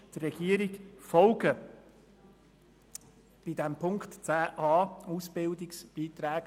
Dies gilt aber nicht für den Punkt 10.a betreffend die Ausbildungsbeiträge.